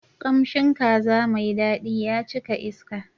Kamshin kaza mai daɗi ya cika iska.